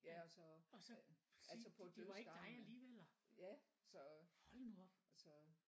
Ja og så altså på dødsgangene ja så så